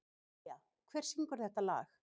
Evelía, hver syngur þetta lag?